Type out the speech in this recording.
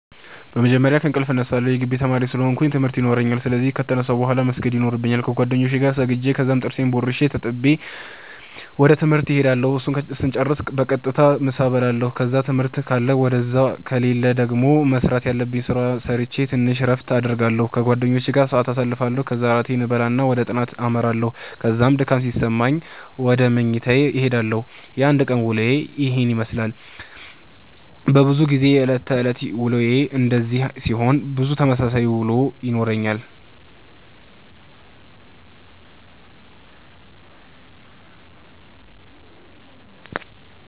በመጀመርያ ከእንቅልፌ እነሳለሁ የጊቢ ተማሪ ስለ ሆነኩ ትምርት የኖራኛል ስለዚህ ከተነሳሁ ቡሃላ መስገድ የኖርብኛል ከጌደኛዬ ጋር ሰግጄ ከዛም ጥርሴን ቦርሼ ተጣጥቤ ወደ ትምህርት እሄዳለሁ እሱን ስጨርስ በቀጥታ ምሳ እበላለሁ ከዛ ትምህርት ካለ ውደዛ ከሌለ ደገሞ መስራተ ያለብኝን ስራ ሰረቼ ተንሽ እረፍት አረጋለሁ ከጓደኛዬ ጋር ሰአት ኣሳልፋለሁ ከዛ እራቴን እበላና ወደ ጥናተ አመራለሁ ከዛ ድካም ሲሰማኝ ውደ መኝታዬ እሄዳለሁ። የአንድ ቀን ዉሎዬ የሄን የመስላል። በዙ ጊዜ የእለት ተእለት ዉሎዬ እንደዚህ ሲሆን ብዙ ተመሳሳይ ዉሎ ይኖረኛል።